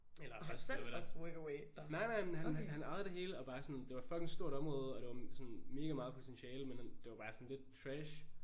Eller holde styr på det nej nej men han han ejede det hele og bare sådan det var et fucking stort område og det var sådan mega meget potentiale men det var bare sådan lidt trash